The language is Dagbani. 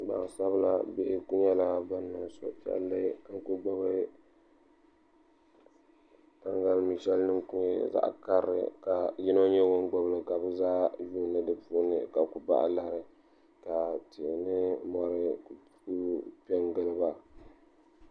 gbaŋsabila bihi ku nyɛla ban niŋ suhupiɛlli ka ku gbubi taŋgalimi'shɛli din ku nyɛ zaɣ'karili ka yino nyɛ ŋun gbubi li ka bɛ zaa yuuni di puuni ka ku bahi lari ka tihi ni mɔri ku pe n-gili ba